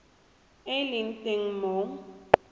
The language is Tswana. e e leng teng mo